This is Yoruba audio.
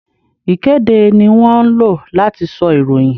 Ìkéde ni wón ńlò láti sọ ìròyìn